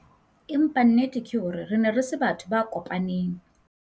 Empa nnete ke hore re ne re se batho ba kopaneng.